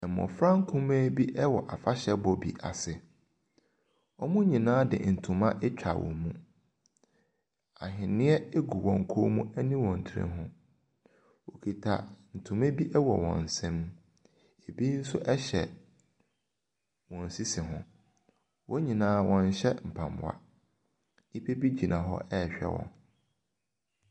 Mmofra nkumaa bi wɔ afahyɛbɔ bi ase. Wɔn nyinaa de ntoma atwa wɔn mu. Ahwene gu koom ne wɔ nsa ho. Wɔkita ntoma bi wɔ wɔn nsam. Ebi nso hyɛ wɔn sisi ho. Wɔn nyinaa nhyɛ ntaadeɛ, nnipa bi gyina hɔ rehwɛ wɔn.